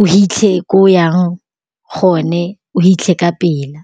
o hitlhe ko yang gone o hitlhe ka pela.